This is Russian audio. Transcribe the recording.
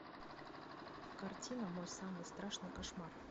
картина мой самый страшный кошмар